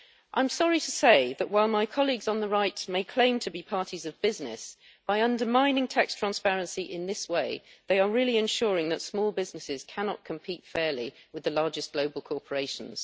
I am sorry to say that while my colleagues on the right may claim to be parties of business, by undermining tax transparency in this way they are really ensuring that small businesses cannot compete fairly with the largest global corporations.